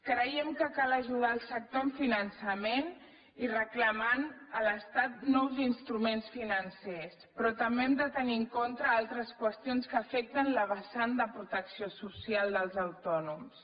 creiem que cal ajudar el sector amb finançament i reclamant a l’estat nous instruments financers però també hem de tenir en compte altres qüestions que afecten la vessant de protecció social dels autònoms